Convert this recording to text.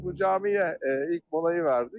Bu camiyə ilk molayı verdik.